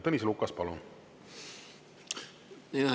Tõnis Lukas, palun!